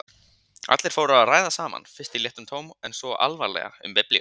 Allir fóru að ræða saman, fyrst í léttum tón en svo alvarlega um biblíuna.